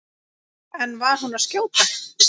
En var hún að skjóta?